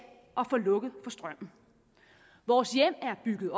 at få lukket for strømmen vores hjem er bygget